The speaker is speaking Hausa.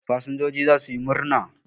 Fasinjoji za su yi murna.